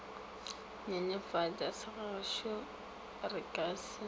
nyenyefatša segagešo re ka se